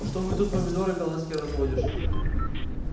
что вы тут помидоры голландские разводишь